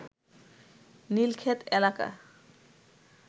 নীলক্ষেত এলাকা